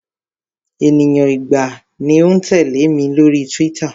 Ènìyàn igba ni ó ń tẹ̀lẹ́ mi lórí Twitter.